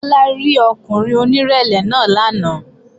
Bọ́lá rí ọkùnrin onírẹ̀lẹ̀ náà lánàá